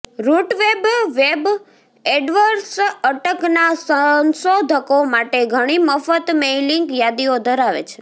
રુટવેબ web Edwards અટકના સંશોધકો માટે ઘણી મફત મેઇલીંગ યાદીઓ ધરાવે છે